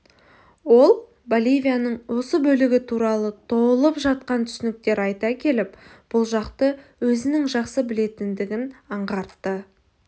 ол боливияның осы бөлігі туралы толып жатқан түсініктер айта келіп бұл жақты өзінің жақсы білетіндігін аңғартты